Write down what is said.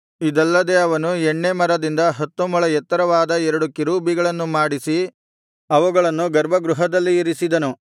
ಇದಲ್ಲದೆ ಅವನು ಎಣ್ಣೇ ಮರದಿಂದ ಹತ್ತು ಮೊಳ ಎತ್ತರವಾದ ಎರಡು ಕೆರೂಬಿಗಳನ್ನು ಮಾಡಿಸಿ ಅವುಗಳನ್ನು ಗರ್ಭಗೃಹದಲ್ಲಿ ಇರಿಸಿದನು